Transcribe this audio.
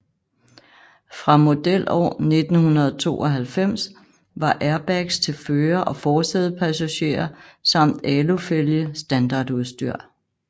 Fra modelår 1992 var airbags til fører og forsædepassager samt alufælge standardudstyr